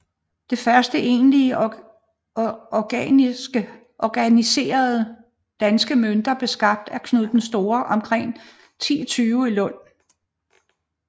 Det første egentlige organiserede danske møntvæsen blev skabt af Knud den Store omkring 1020 i Lund